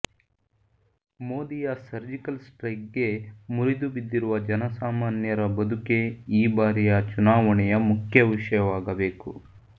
ಮೋದಿಯ surgical ಸ್ಟ್ರೈಕ್ಗೆ ಮುರಿದು ಬಿದ್ದಿರುವ ಜನಸಾಮಾನ್ಯರ ಬದುಕೇ ಈ ಬಾರಿಯ ಚುನಾವಣೆಯ ಮುಖ್ಯ ವಿಷಯವಾಗಬೇಕು